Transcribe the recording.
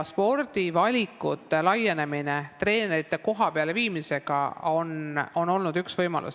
Spordivalikute laienemine treenerite kohapeale viimisega on olnud üks võimalusi.